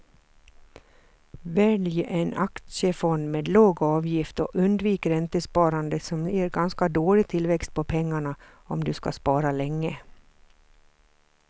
Välj en aktiefond med låg avgift och undvik räntesparande som ger ganska dålig tillväxt på pengarna om du ska spara länge.